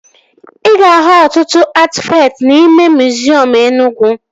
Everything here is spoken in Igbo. Ị ga-ahụ ọtụtụ atịfakt n'ime miziọm Enugwu